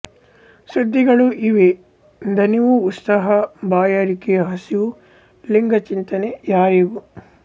ಸುದ್ದಿಗಳೂ ಇವೆ ದಣಿವು ಉತ್ಸಾಹ ಬಾಯಾರಿಕೆ ಹಸಿವು ಲಿಂಗಚಿಂತನೆ ಯಾರಿಗೂ